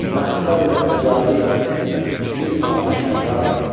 Məhsərül əcaib, bir adı kərrar.